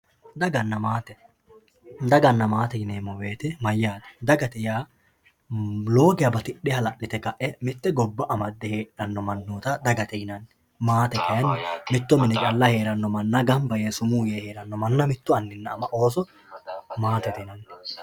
Daganna maate, daganna maate yineemmo woyte mayyate, dagate yaa lowo geeshsha batidhe hala'lite lae mite gobba amade heedhano mannotta dagate yinanni maatete yaa kayinni mitto mine calla summu yee gamba yee heerano ama anna ooso maatete yineemmo.